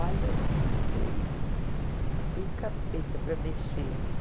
Olha, foi do capeta para mexer, assim.